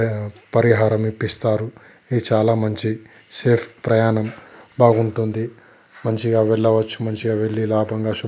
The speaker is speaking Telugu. పరిహారం ఇప్పిస్తారు ఇది చాలా మంచి సేఫ్ ప్రయానం బాగుంటుంది మంచిగా వెళ్ళవచ్చు మంచిగా వెళ్ళి లాభంగా--